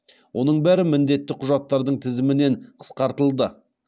оның бәрі міндетті құжаттардың тізімінен қысқартылды